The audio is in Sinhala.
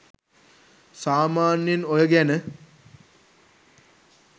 සාමාන්‍යයෙන් ඔය ගැන